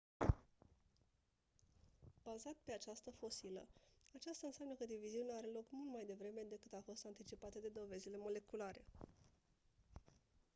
,,bazat pe această fosilă aceasta înseamnă că diviziunea are loc mult mai devreme decât a fost anticipată de dovezile moleculare